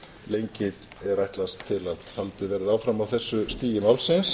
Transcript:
lengi er ætlast til að haldið verði áfram á þessu stigi málsins